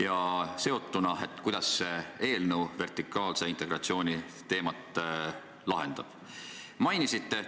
Ja sellega seotuna: kuidas see eelnõu vertikaalse integratsiooni teemat lahendab?